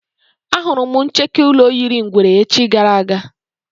Á hụrụ m ncheke ụlọ yiri ngwere echi gara aga